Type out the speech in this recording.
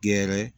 Gɛrɛ